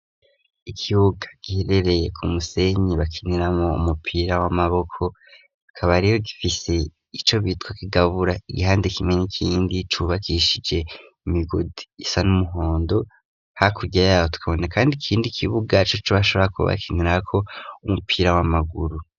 Ikibuga giherereye ku musenyi bakiniramwo umupira w'amaboko, kikaba rero gifise ico bitwa kigabura igihande kimwe n'ikindi, cubakishije imigozi isa n'umuhondo, hakurya y'abo tukabona kandi ikindi kibuga coco bashobora kuba bakinirako umupira w'amaguru.